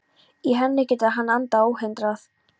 Í henni getur hann andað óhindrað.